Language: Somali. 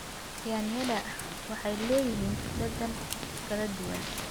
Yaanyada waxay leeyihiin dhadhan kala duwan.